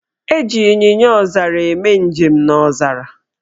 Eji Ịnyịnyaọzara eme njem n' ọzara.